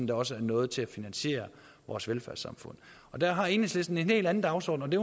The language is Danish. der også er noget til at finansiere vores velfærdssamfund der har enhedslisten en helt anden dagsorden og det